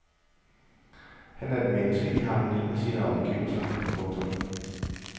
Han er et menneske i harmoni med sine omgivelser. punktum